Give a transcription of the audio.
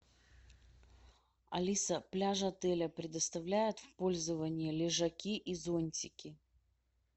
алиса пляже отеля предоставляет в пользование лежаки и зонтики